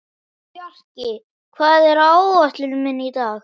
Fjarki, hvað er á áætluninni minni í dag?